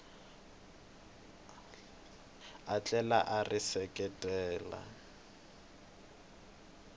a tlhela a ri seketela